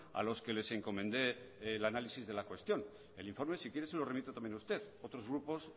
a los que les encomendé el análisis de la cuestión el informe si quiere se lo remito también a usted otros grupos